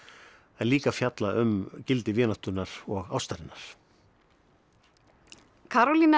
en líka að fjalla um gildi vináttunnar og ástarinnar